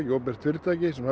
opinbert gjaldtökufyrirtæki sem